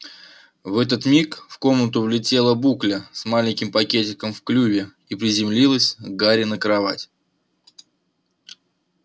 в этот миг в комнату влетела букля с маленьким пакетиком в клюве и приземлилась к гарри на кровать